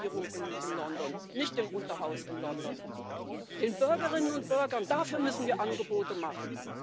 Nicht der Regierung in London, nicht dem Unterhaus in London, sondern den Bürgerinnen und Bürgern müssen wir Angebote machen.